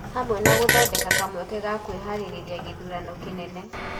Hamwe na gũthondeka kamweke ga kwĩharĩria gĩthurano kĩnene.